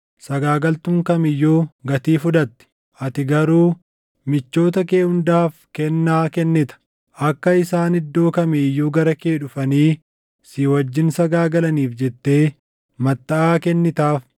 Sagaagaltuun kam iyyuu gatii fudhatti; ati garuu michoota kee hundaaf kennaa kennita; akka isaan iddoo kamii iyyuu gara kee dhufanii si wajjin sagaagalaniif jettee mattaʼaa kennitaaf.